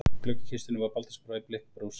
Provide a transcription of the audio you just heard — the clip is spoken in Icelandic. Í gluggakistunni var baldursbrá í blikkkrús.